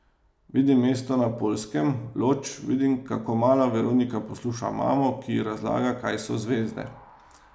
Vidim mesto na Poljskem, Lodž, vidim, kako mala Veronika posluša mamo, ki ji razlaga, kaj so zvezde.